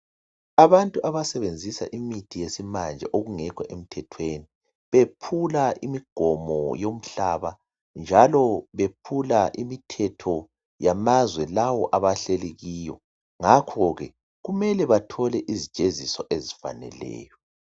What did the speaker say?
Abantu abasenzisa imithi yesimanje okungekho emthethweni bephula imigomo yomhlaba njalo bephula imithetho yamazwe lawo abahleli kiwo ngakho ke kumele bathole izijeziso ezifaneleyo.